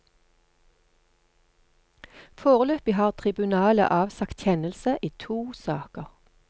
Foreløpig har tribunalet avsagt kjennelse i to saker.